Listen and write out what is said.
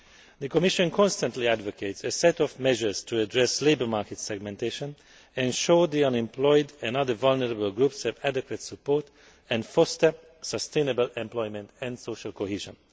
The Commission constantly advocates a set of measures to address labour market segmentation, to ensure the unemployed and other vulnerable groups have adequate support and to foster sustainable employment and social cohesion.